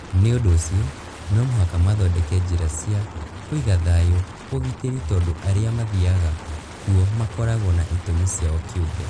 Nĩ ũndũ ũcio no mũhaka mathondeke njĩra cia kũiga thayũ na ũgitĩri tondũ arĩa mathiaga kuo makoragwo na itũmi ciao kĩũmbe